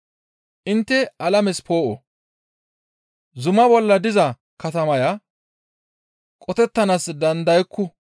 Intte alames poo7o. Zuma bolla diza katamaya qotettanaas dandayakku.